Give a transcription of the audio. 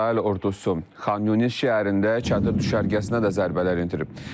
İsrail ordusu Xanyuniz şəhərində çadır düşərgəsinə də zərbələr endirib.